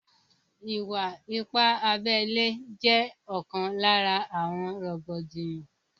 Ìwà ipá abẹ ile jẹ́ ókan lára àwọn rògbòdìyàn